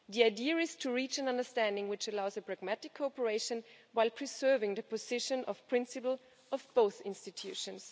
The idea is to reach an understanding which allows a pragmatic cooperation, while preserving the position of principle of both institutions.